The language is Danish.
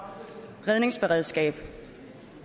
redningsberedskabet